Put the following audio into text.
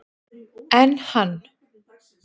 Enn hann